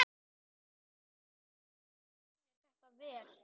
Eitt lítið bréf sem mér barst sýnir þetta vel.